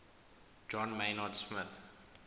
john maynard smith